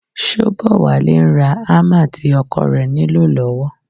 Ṣóbọ̀wálé ń ra ámà tí ọkọ rẹ̀ nílò lọ́wọ́